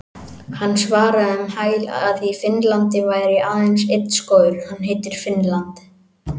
Hann svaraði um hæl að í Finnlandi væri aðeins einn skógur- hann heitir Finnland.